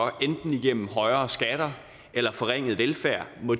gennem højere skatter eller forringet velfærd må